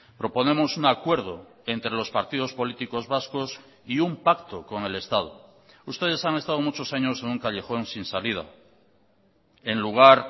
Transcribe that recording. proponemos un acuerdo entre los partidos políticos vascos y un pacto con el estado ustedes han estado muchos años en un callejón sin salida en lugar